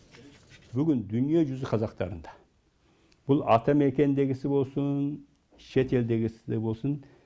бүгін дүниежүзі қазақтарында бұл атамекендегісі болсын шетелдегісі болсын